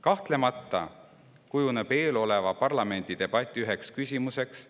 Kahtlemata kujunevad eeloleva parlamendidebati küsimusteks: